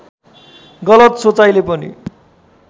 गलत सोचाइले पनि